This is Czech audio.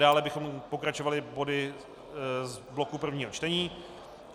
Dále bychom pokračovali body z bloku prvních čtení.